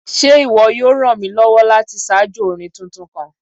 Ṣe iwọ yoo ran mi lọwọ lati ṣajọ orin tuntun kan?